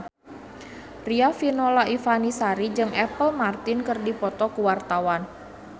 Riafinola Ifani Sari jeung Apple Martin keur dipoto ku wartawan